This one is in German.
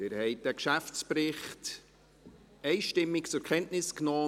Sie haben diesen Geschäftsbericht mit 133 Ja-Stimmen einstimmig zur Kenntnis genommen.